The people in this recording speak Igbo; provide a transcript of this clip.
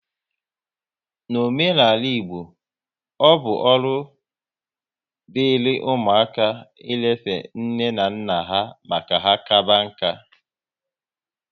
N'omenala Igbo, ọ bụ ọrụ diri ụmụaka ị lefe nne na nna ha ma ka kaba nka